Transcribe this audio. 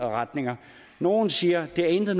retninger nogle siger at det intet